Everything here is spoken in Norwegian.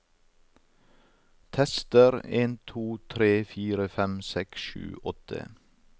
Tester en to tre fire fem seks sju åtte